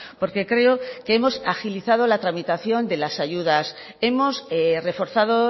porque creo que hemos agilizado la tramitación de las ayudas hemos reforzado